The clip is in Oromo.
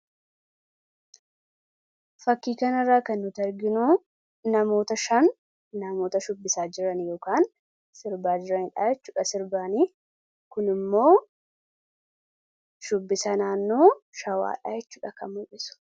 fakkii kan irraa kan nuti arginu namoota 5 namoota shubbisaa jiran yookaan sirbaa jirani dhayachuudha sirbaanii kun immoo shubbisa naannoo shawaa dhaayachuu kan mul'isu